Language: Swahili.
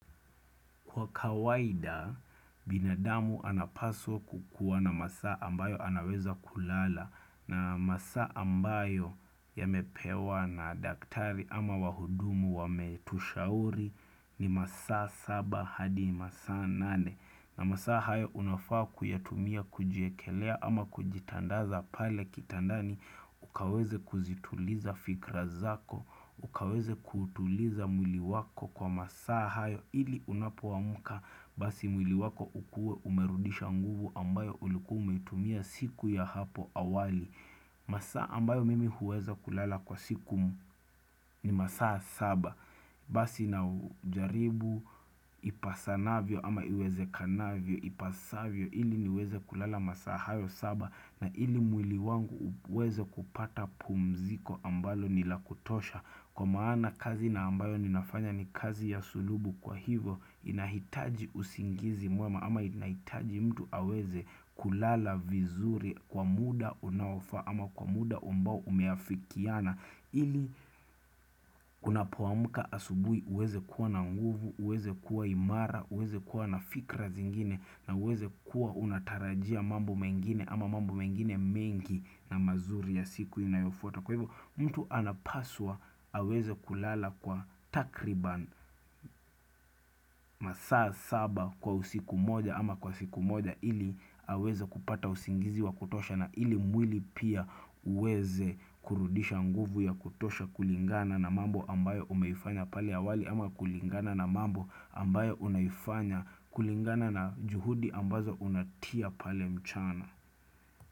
Kwa kawaida binadamu anapaswa kukuwa na masa ambayo anaweza kulala na masa ambayo yamepewa na daktari ama wahudumu wa metushauri ni masa saba hadi masa nane. Na masaa hayo unafaa kuyatumia kujiekelea ama kujitandaza pale kitandani ukaweze kuzituliza fikra zako, ukaweze kutuliza mwili wako kwa masaa hayo ili unapuwa muka basi mwili wako ukue umerudisha nguvu ambayo ulikua umeitumia siku ya hapo awali. Masaa ambayo mimi huweza kulala kwa siku ni masaa saba Basi na ujaribu ipasana vio ama iweze kanavio ipasavio ili niweze kulala masaa hayo saba na ili mwili wangu uweze kupata pumziko ambalo nila kutosha Kwa maana kazi na ambayo ninafanya ni kazi ya sulubu kwa hivo inahitaji usingizi mwema ama inahitaji mtu aweze kulala vizuri kwa muda unaofaa ama kwa muda umbau umeafikiana ili kuna poamuka asubui uweze kuwa na nguvu, uweze kuwa imara, uweze kuwa na fikra zingine na uweze kuwa unatarajia mambo mengine ama mambo mengine mengi na mazuri ya siku inayofuta Kwa hivyo mtu anapaswa aweze kulala kwa takriban masaa saba kwa usiku moja ama kwa usiku moja ili aweze kupata usingizi wa kutosha na ili mwili pia uweze kurudisha nguvu ya kutosha kulingana na mambo ambayo umeifanya pale awali ama kulingana na mambo ambayo unaifanya kulingana na juhudi ambazo unatia pale mchana.